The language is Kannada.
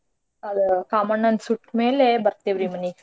ಕಾಮಣ್ಣನ್ ಸುಟ್ಮೇಲೆ ಬರ್ತೇವ್ರಿ ಮನೀಗ್.